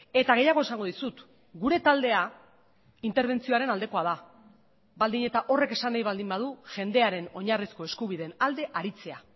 eta gehiago esango dizut gure taldea interbentzioaren aldekoa da baldin eta horrek esan nahi baldin badu jendearen oinarrizko eskubideen alde aritzea